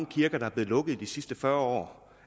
kirker der er blevet lukket i de sidste fyrre